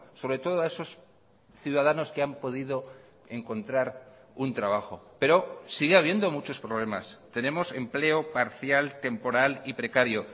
sobre todo a esos ciudadanos que han podido encontrar un trabajo pero sigue habiendo muchos problemas tenemos empleo parcial temporal y precario